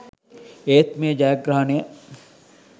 ඒත් මේ ජයග්‍රහණය